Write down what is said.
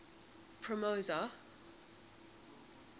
promosa